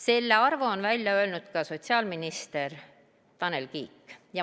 Selle arvu on välja öelnud ka sotsiaalminister Tanel Kiik.